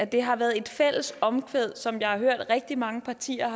det har været et omkvæd som jeg har hørt rigtig mange partier